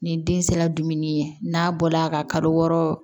Ni den sera dumuni ye n'a bɔla ka kalo wɔɔrɔ